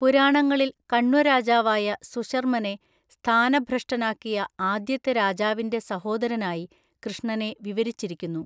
പുരാണങ്ങളിൽ കണ്വരാജാവായ സുശർമനെ സ്ഥാനഭ്രഷ്ഠനാക്കിയ ആദ്യത്തെ രാജാവിന്‍റെ സഹോദരനായി കൃഷ്ണനെ വിവരിച്ചിരിക്കുന്നു.